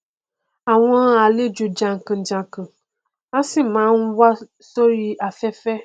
àwọn àlejò jànkànjànkàn a sì máa n wá sórí afẹfẹ